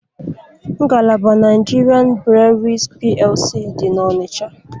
Ngalaba Nigerian Breweries PLC dị n'Ọnịcha.